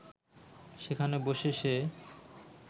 সেখানে বসে সে